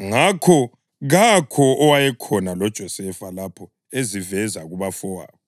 Ngakho kakho owayekhona loJosefa lapho eziveza kubafowabo.